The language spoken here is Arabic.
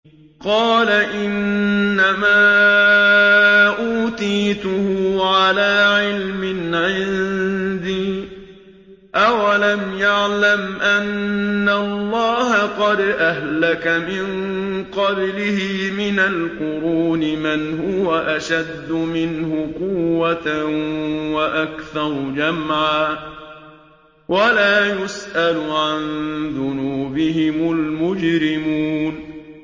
قَالَ إِنَّمَا أُوتِيتُهُ عَلَىٰ عِلْمٍ عِندِي ۚ أَوَلَمْ يَعْلَمْ أَنَّ اللَّهَ قَدْ أَهْلَكَ مِن قَبْلِهِ مِنَ الْقُرُونِ مَنْ هُوَ أَشَدُّ مِنْهُ قُوَّةً وَأَكْثَرُ جَمْعًا ۚ وَلَا يُسْأَلُ عَن ذُنُوبِهِمُ الْمُجْرِمُونَ